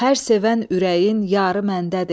hər sevən ürəyin yarı məndədir.